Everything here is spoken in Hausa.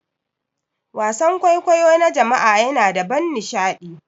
Wasan kwaikwayo na jama'a yana da ban nishaɗi.